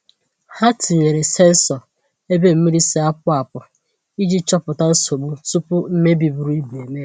Ha tinyere sensọ ebe mmiri si-apụ apụ iji chọpụta nsogbu tupu mmebi buru ibu eme.